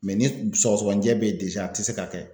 ni sɔgɔsɔgɔnijɛ be ye a tɛ se ka kɛ.